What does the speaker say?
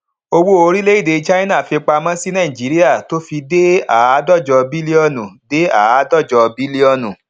owó orílẹèdè china fipamọ sí nàìjíríà tó fi dé àádọjọ bílíọnù dé àádọjọ bílíọnù